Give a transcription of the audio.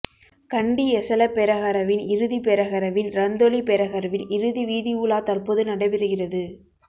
கண்டி எசல பெரஹரவின் இறுதிப் பெரஹரவின் ரந்தொலி பெஹரவின் இறுதி வீதி உலா தற்போது நடைபெறுகிறுது